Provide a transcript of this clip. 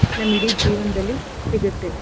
ನಮ್ಗೆ ಇಡೀ ಜೀವನ್ದಲ್ಲಿ ಸಿಗತ್ತೆ.